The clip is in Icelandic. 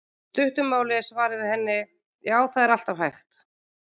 Í stuttu máli er svarið við henni: Já, það er alltaf hægt.